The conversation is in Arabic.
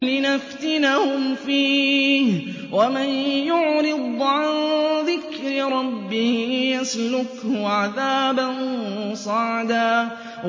لِّنَفْتِنَهُمْ فِيهِ ۚ وَمَن يُعْرِضْ عَن ذِكْرِ رَبِّهِ يَسْلُكْهُ عَذَابًا صَعَدًا